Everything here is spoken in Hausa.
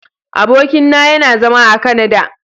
Abokin na yana zama a " Canada".